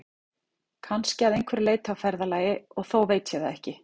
Kannski að einhverju leyti á ferðalagi, og þó veit ég það ekki.